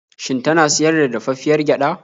Shin tana siyar da dafaffiyar gyaɗa?